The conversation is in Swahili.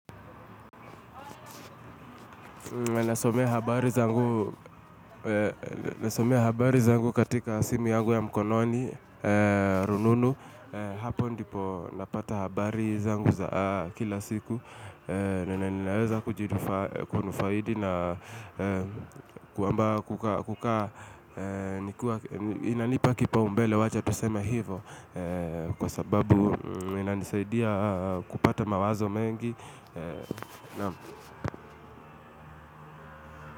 Nasomea habari zangu katika simi yangu ya mkononi, rununu. Hapo ndipo napata habari zangu za kila siku. Ninaweza kujidufa kunu faidi na kwamba kuka nikuwa inanipa kipa umbele wacha tusema hivo. Kwa sababu inanisaidia kupata mawazo mengi.